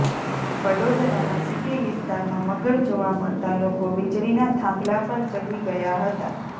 વડોદરાના સિટી વિસ્તારમાં મગર જોવા મળતા લોકો વીજળીના ભાંથલા પર ચઢી ગયા હતા